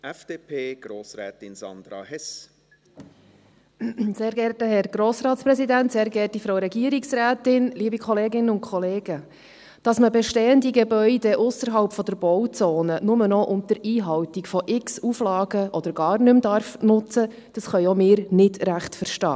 Dass man bestehende Gebäude ausserhalb der Bauzone nur noch unter Einhaltung von x Auflagen oder gar nicht mehr nutzen darf, können auch wir nicht recht verstehen.